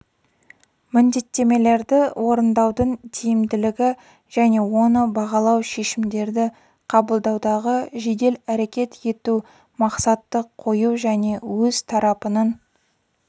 міндеттемелерді орындаудың тиімділігі және оны бағалау шешімдерді қабылдаудағы жедел әрекет ету мақсатты қою және өз тарапының